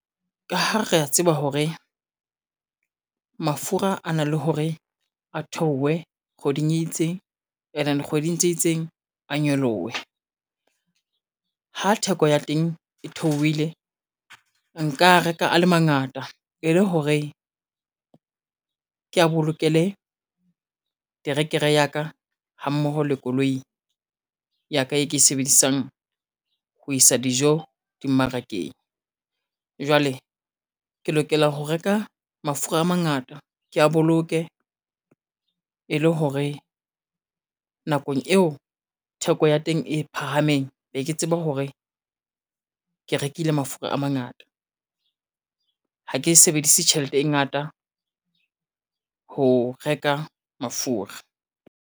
Ka ha re ya tseba hore, mafura a na le hore a theowe kgweding e itseng, and then kgweding tse itseng, a nyolowe. Ha theko ya teng e theowile nka a reka a le mangata e le hore, kea bolokele terekere ya ka ha mmoho le koloi ya ka e ke e sebedisang ho isa dijo dimmarakeng. Jwale ke lokela ho reka mafura a mangata kea boloke e le hore, nakong eo theko ya teng e phahameng be ke tseba hore, ke rekile mafura a mangata, ha ke e sebedise tjhelete e ngata ho reka mafura.